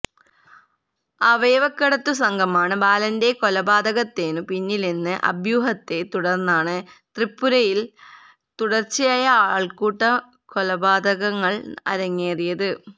അവയവക്കടത്തു സംഘമാണ് ബാലന്റെ കൊലപാതകത്തിനു പിന്നിലെന്ന അഭ്യൂഹത്തെത്തുടര്ന്നാണ് തൃപുരയില് തുടര്ച്ചയായ ആള്ക്കൂട്ടക്കൊലപാതകങ്ങള് അരങ്ങേറിയത്